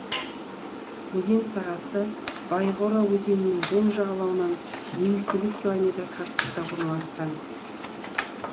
өзен сағасы байгора өзенінің оң жағалауынан елу сегіз километр қашықтықта орналасқан